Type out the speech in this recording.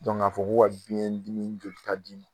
Dɔn ŋ'a fɔ ko ka biyɛn dimi jolita d'i ma